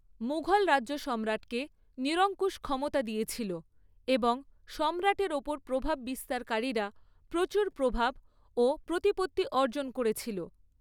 মুঘল রাজ্য সম্রাটকে নিরঙ্কুশ ক্ষমতা দিয়েছিল এবং সম্রাটের ওপর প্রভাব বিস্তারকারীরা প্রচুর প্রভাব ও প্রতিপত্তি অর্জন করেছিল।